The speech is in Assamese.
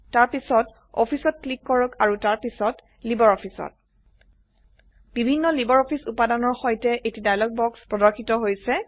তাৰ পিছত অফিসত ক্লিক কৰক আৰু তাৰ পিছত লাইব্ৰঅফিছ ত বিভিন্ন লাইব্ৰঅফিছ উপাদানৰ সৈতে এটি ডায়লগ বাক্স প্ৰৰ্দশিত হৈছে